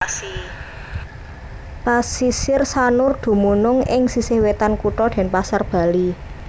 Pasisir Sanur dumunung ing sisih wetan kutha Denpasar Bali